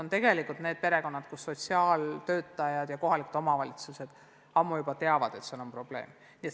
Need on need perekonnad, kelle kohta sotsiaaltöötajad ja kohalikud omavalitsused juba ammu teavad, et seal on probleeme.